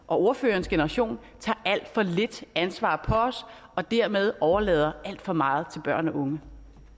og ordførerens generation tager alt for lidt ansvar på os og dermed overlader alt for meget til børn og unge